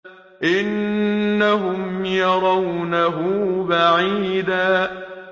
إِنَّهُمْ يَرَوْنَهُ بَعِيدًا